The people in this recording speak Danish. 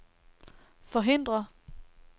forhindre